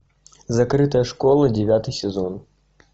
закрытая школа девятый сезон